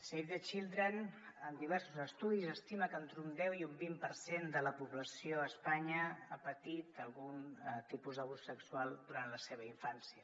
save the children en diversos estudis estima que entre un deu i un vint per cent de la població a espanya ha patit algun tipus d’abús sexual durant la seva infància